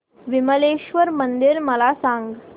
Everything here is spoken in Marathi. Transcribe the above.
विमलेश्वर मंदिर मला सांग